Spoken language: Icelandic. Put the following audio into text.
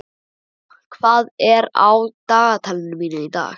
Sunnefa, hvað er á dagatalinu mínu í dag?